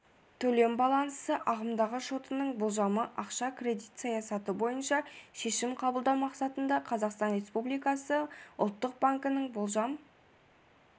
төлем баллансы ағымдағы шотының болжамы ақша-кредит саясаты бойынша шешім қабылдау мақсатында қазақстан республикасы ұлттық банкінің болжам